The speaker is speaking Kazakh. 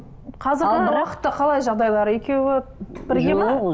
қазіргі уақытта қалай жағдайлары екеуі